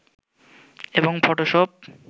এবং ফটোশপ